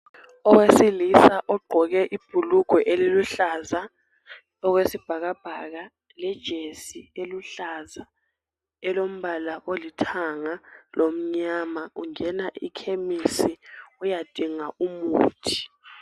Owesilisa ogqoke ibhulugwe eliluhlaza okwesibhakabhaka lejesi eluhlaza elombala olithanga lomnyama ungena ekhemisi uyadinga umuthi.